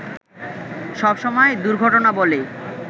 সবসময় দূর্ঘটনা বলে